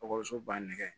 Ekɔliso ba nɛgɛ